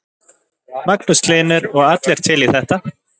Magnús Hlynur: Og allir til í þetta?